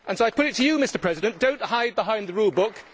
So I put it to you, Mr President do not hide behind the rule book.